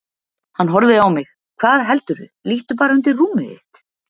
Hann horfði á mig: Hvað heldurðu, líttu bara undir rúmið þitt.